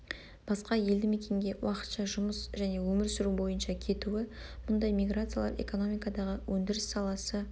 басқа елді мекенге уақытша жұмыс және өмір сүру бойынша кетуі мұндай миграциялар экономикадағы өндіріс саласы